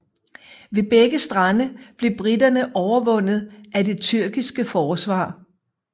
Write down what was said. Ved begge strande blev briterne overvundet af det tyrkiske forsvar